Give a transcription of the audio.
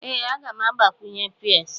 Ee, m ga-agbakwunye peas.